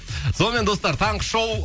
сонымен достар таңғы шоу